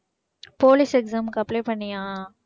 police exam க்கு apply பண்ணியா?